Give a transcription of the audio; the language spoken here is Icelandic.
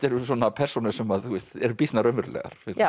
persónur sem eru býsna raunverulegar